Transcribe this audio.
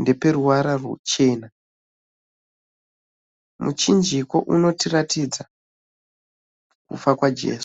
ndeweruvara ruchena. Muchinjiko unotiratiratidza kufa kwaJesu.